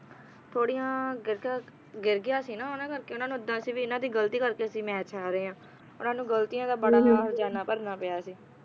ਥੋੜੀਆਂ ਗਿਰ ਕੇ ਗਿਰ ਗਿਆ ਸੀ ਨਾ ਉਹਨਾਂ ਕਰਕੇ ਉਹਨਾਂ ਨੂੰ ਇੱਦਾਂ ਸੀ ਵੀ ਇਨ੍ਹਾਂ ਦੀ ਗਲਤੀ ਕਰਕੇ ਅਸੀਂ ਮੈਚ ਹਾਰੇ ਹਾਂ ਉਨ੍ਹਾਂ ਨੂੰ ਗਲਤੀਆਂ ਦਾ ਬੜਾ ਹਰਜ਼ਾਨਾ ਭਰਨਾ ਪਿਆ ਸੀ